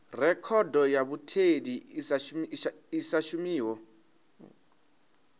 rekhodo ya mutheli i sa shumiho